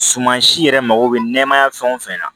Suman si yɛrɛ mago bɛ nɛmaya fɛn o fɛn na